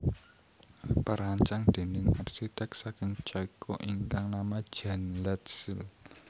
Perancang déning arsiték saking Ceko ingkang nama Jan Letzel